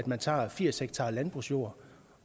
man tager firs ha landbrugsjord